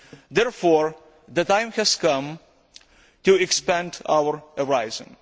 Therefore, the time has come to expand our horizons.